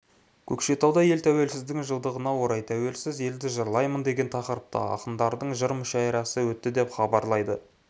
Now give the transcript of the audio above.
көкшетауда ел тәуелсіздігінің жылдығына орай тәуелсіз елді жырлаймын деген тақырыпта ақындардың жыр мүшәйрасы өтті деп хабарлайды